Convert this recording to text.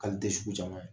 K'ale tɛ sugu caman ye